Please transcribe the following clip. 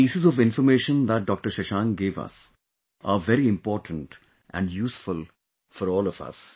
The pieces of information that Dr Shashank gave us are very important and useful for all of us